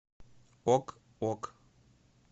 ок ок